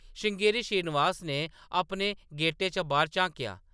श्रृंगेरी श्रीनिवास ने अपने गेटै चा बाह्‌‌र झांकेआ ।